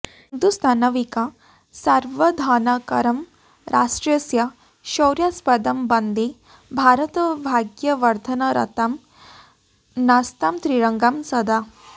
हिन्दुस्थानविकासवर्धनकरं राष्ट्रस्य शौर्यास्पदं वन्दे भारतभाग्यवर्धनरतां नस्तां त्रिरङ्गां सदा